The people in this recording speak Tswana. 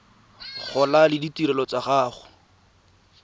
gola le ditirelo tsa go